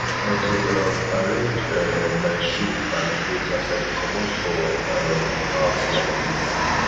na to um arrange um my shoe and clothe as i dey comot for um house like dis